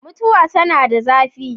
mutuwa tana da zafi